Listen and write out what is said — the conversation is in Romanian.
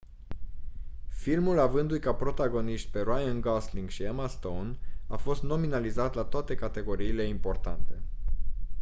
filmul avăndu-i ca protagoniști pe ryan gosling și emma stone a fost nominalizat la toate categoriile importante